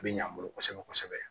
A bɛ ɲɛ an bolo kosɛbɛ kosɛbɛ